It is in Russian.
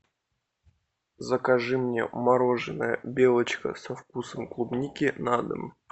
закажи мне мороженое белочка со вкусом клубники на дом